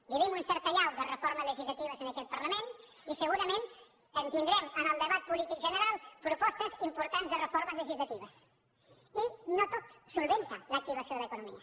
vivim una certa allau de reformes legislatives en aquest parlament i segurament tindrem en el debat polític general propostes importants de reformes legislatives i no tot resol l’activació de l’economia